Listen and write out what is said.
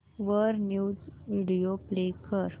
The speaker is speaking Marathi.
वर न्यूज व्हिडिओ प्ले कर